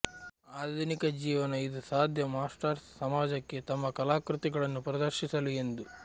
ಆಧುನಿಕ ಜೀವನ ಇದು ಸಾಧ್ಯ ಮಾಸ್ಟರ್ಸ್ ಸಮಾಜಕ್ಕೆ ತಮ್ಮ ಕಲಾಕೃತಿಗಳನ್ನು ಪ್ರದರ್ಶಿಸಲು ಎಂದು